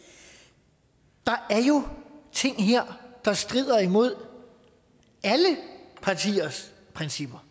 der er jo ting her der strider imod alle partiers principper